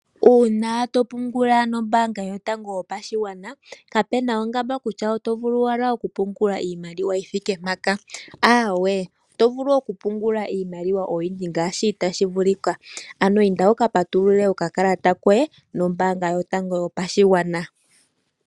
Uuna topungula nombaanga yotango yopashigwana, kapena oongamba kutya owuna okupungula iimaliwa yi thike mpaka. Oto vulu okupungula iimaliwa oyindji ngaashi tashi vulika, ano inda wuka patulule okakalata koye nombaanga yotango yopashigwana.